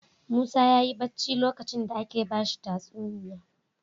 Musa yayi bacci lokacin da ake bashi tatsuniya